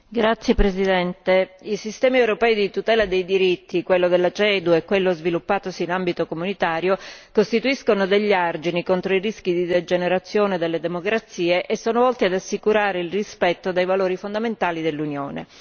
Signora Presidente, onorevoli colleghi, i sistemi europei di tutela dei diritti, quello della CEDU e quello sviluppatosi in ambito comunitario, costituiscono degli argini contro i rischi di degenerazione delle democrazie e sono volti ad assicurare il rispetto dei valori fondamentali dell'Unione.